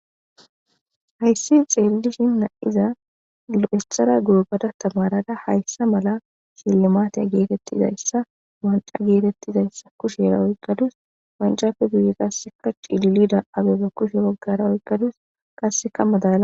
Hayssi xeelishin na7iza lo7essara gurubada tamarada hayssa mala sillamaateya geetettizayssa wanca geetettizayssa kushera oykkadus wancappe duuye qasseka cililida abeba kushe woggara oykkadus kasseka madala